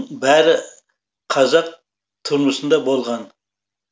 бәрі қазақ тұрмысында болған